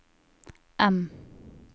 M